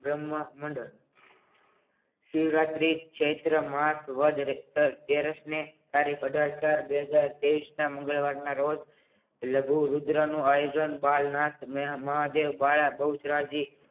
બ્રહ્મ મંડળ શિવરાત્રી ચૈત્ર માસ વદ અગીયારુસ ને તારીખ અઢાર ચાર બે હજાર તેવીસ ના મંગળવાર ના રોજ લઘુરુદ્રનું આયોજન પાલનાથ મહાદેવ વાયા બહુચરાજી